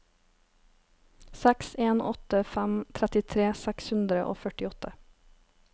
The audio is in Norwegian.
seks en åtte fem trettitre seks hundre og førtiåtte